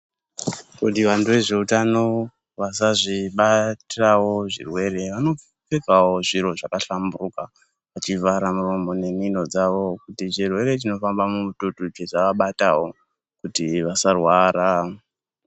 Kuti vantu vezveutano vasazvibatawo zvirwere vanopfekawo zviro zvakahlamburuka chivharamuromo nemhino dzao kuti chirwere chinofamba mumututu chisaabatawo kuti vasarwara.